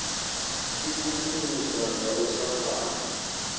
ikukumusa nga u sa fana